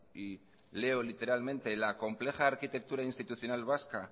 y leo literalmente la compleja arquitectura institucional vasca